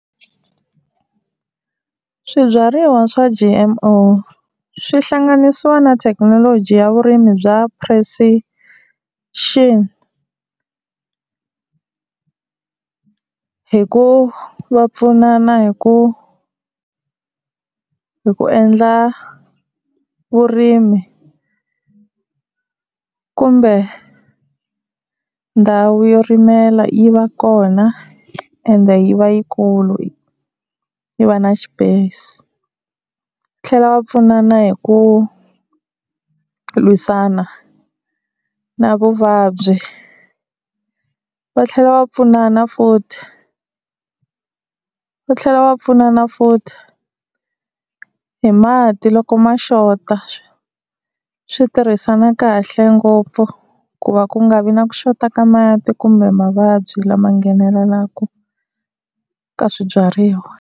Swibyariwa swa G_M_O swi hlanganisiwa na thekinoloji ya vurimi bya precision hi ku va pfunana hi ku hi ku endla vurimi kumbe ndhawu yo rimela yi va kona ende yi va yikulu yi va na space. Va tlhela va pfunana hi ku lwisana na vuvabyi. Va tlhela va pfunana futhi va tlhela va pfunana futhi hi mati loko ma xota swi tirhisana kahle ngopfu ku va ku nga vi na ku xota ka mati kumbe mavabyi lama nghenelelaku ka swibyariwa.